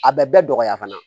A bɛ bɛɛ dɔgɔya fana